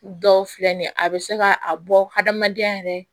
Dɔw filɛ nin ye a bɛ se ka a bɔ hadamadenya yɛrɛ